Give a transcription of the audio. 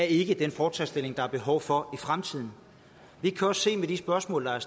ikke er den fortrinsstilling der er behov for i fremtiden vi kan også se med de spørgsmål der er